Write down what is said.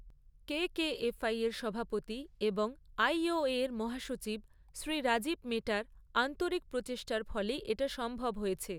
KKFI এর সভাপতি এবং আইওএর মহাসচিব শ্রী রাজীব মেটার আন্তরিক প্রচেষ্টার ফলেই এটা সম্ভব হয়েছে।